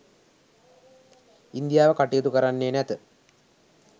ඉන්දියාව කටයුතු කරන්නේ නැත.